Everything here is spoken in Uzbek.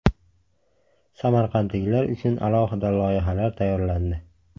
Samarqandliklar uchun alohida loyihalar tayyorlandi.